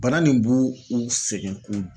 Bana nin bu u sɛgɛn k'u